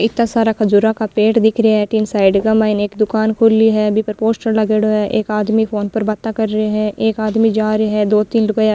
इत्ता सारा खजुरा का पेड़ दिख रिया है अठीने साइड के माय एक दुकान खुली है बी पर पोस्टर लागेड़ो है एक आदमी फ़ोन पर बाता कर रियो है एक आदमी जा रियो है दो तीन लुगाया --